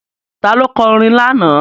Ta ló kọ orin lánàá?